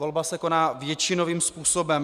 Volba se koná většinovým způsobem.